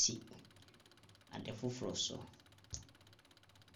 si ade foforɔ so.